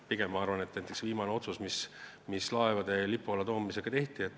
Näiteks, see viimane otsus, mis laevade Eesti lipu alla toomise kohta tehti.